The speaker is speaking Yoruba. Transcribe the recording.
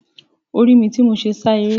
O ri mi ti mo n sá eré.